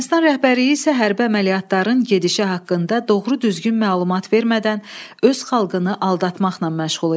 Ermənistan rəhbərliyi isə hərbi əməliyyatların gedişi haqqında doğru-düzgün məlumat vermədən öz xalqını aldatmaqla məşğul idi.